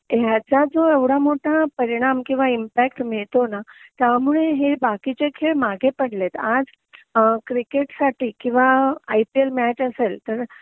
आणि ह्याचा जो एवढा मोठा परिणाम किंवा इम्पॅक्ट मिळतो ना त्यामुळे हे बाकीचे खेळ मागे पडलेत आज क्रिकेटसाठी किंवा आय पी एल मॅच असेल तर